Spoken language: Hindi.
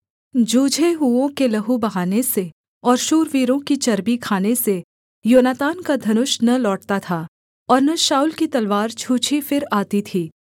जूझे हुओं के लहू बहाने से और शूरवीरों की चर्बी खाने से योनातान का धनुष न लौटता था और न शाऊल की तलवार छूछी फिर आती थी